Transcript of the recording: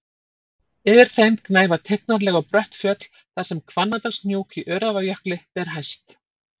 Yfir þeim gnæfa tignarleg og brött fjöll þar sem Hvannadalshnúk í Öræfajökli ber hæst.